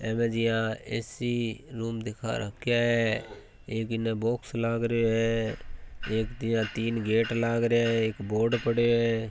ऐबेजिया A. C room दिखा रख्या है एक इन बॉक्स लग रियो है एक दिया तीन गेट लागरिया है एक बोर्ड पड्यो है।